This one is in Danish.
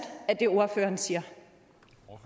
af det ordføreren siger